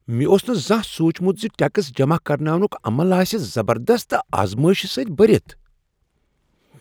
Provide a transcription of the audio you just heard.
مےٚ اوس نہٕ زانٛہہ سوٗنٛچمت ز ٹیکس جمع کراونک عمل آسہ زبردست تہٕ آزمٲیش سۭتۍ بھرتھ۔